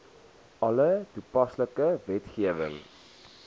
alle toepaslike wetgewing